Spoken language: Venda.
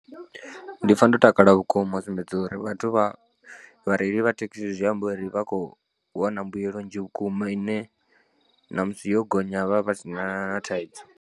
Ndi pfha ndo takala vhukuma u sumbedza uri vhathu vha vhareili vha thekhisi zwi amba uri vha khou wana mbuyelo nnzhi vhukuma ine na musi yo gonya vha vha sina na thaidzo.